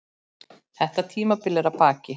Þetta tímabil er að baki.